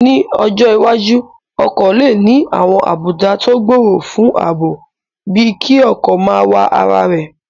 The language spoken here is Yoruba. Ní ọjọ́ iwájú, ọkọ̀ lè ní àwọn àbùdá tó gbòòrò fún ààbò bíi kí ọkọ̀ máa wa ara rẹ̀